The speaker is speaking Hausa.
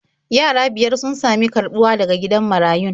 Yara biyar sun sami karɓuwa daga gidan marayun.